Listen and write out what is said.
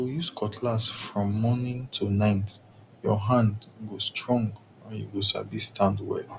to use cutlass from morning to night your hand go strong and you go sabi stand well